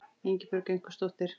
Ingibjörg einhvers dóttir.